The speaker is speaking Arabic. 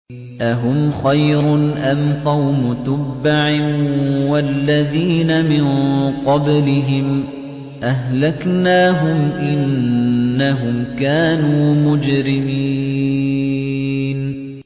أَهُمْ خَيْرٌ أَمْ قَوْمُ تُبَّعٍ وَالَّذِينَ مِن قَبْلِهِمْ ۚ أَهْلَكْنَاهُمْ ۖ إِنَّهُمْ كَانُوا مُجْرِمِينَ